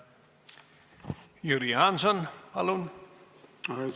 Suur tänu!